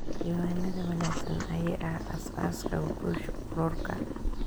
Diiwaanada wanaagsan ayaa ah aasaaska guusha ururka.